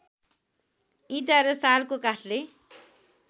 इँटा र सालको काठले